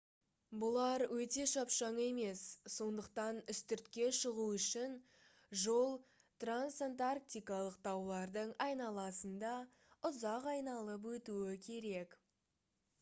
бұлар өте шапшаң емес сондықтан үстіртке шығу үшін жол трансантарктикалық таулардың айналасында ұзақ айналып өтуі керек